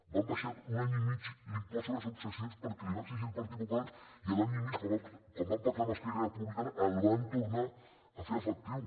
van abaixar un any i mig l’impost sobre successions perquè els ho va exigir el partit popular i al cap d’un any i mig quan van pactar amb esquerra republicana el van tornar a fer efectiu